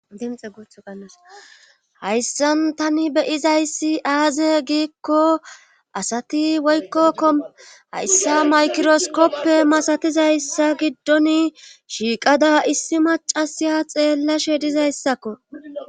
hayssan tani beyizayssi aaze giikko asati woykko ko hayssa maykiroskoppe masatizayssa giddon shiiqada issi macasiya xeellashe dizayssakko